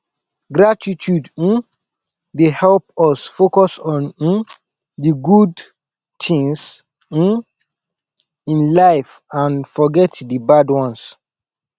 gratitude um dey help us focus on um di good tings um in life and forget di bad ones